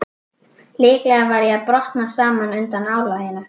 Líklega var ég að brotna saman undan álaginu.